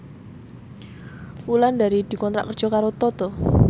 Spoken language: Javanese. Wulandari dikontrak kerja karo Toto